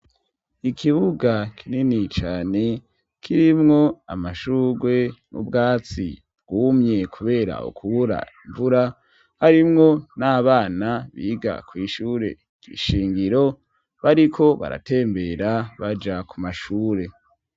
Ikibuga kinini cane kirimwo amashugwe n'ubwatsi bwumye kubera ukubura imvura harimwo n'abana biga kw'ishure kishingiro bariko baratembera baja ku mashure.